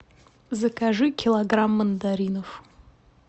закажи килограмм мандаринов